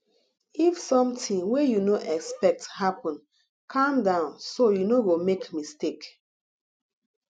if something wey you no expect happen calm down so you no go make mistake